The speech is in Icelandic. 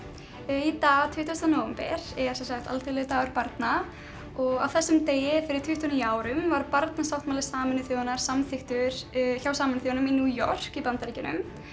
í dag tuttugasta nóvember er sem sagt alþjóðlegur dagur barna og á þessum degi fyrir tuttugu og níu árum var barnasáttmáli Sameinuðu þjóðanna samþykktur hjá Sameinuðu þjóðunum í New York í Bandaríkjunum